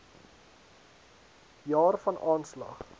jaar van aanslag